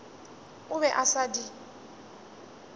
o be a sa di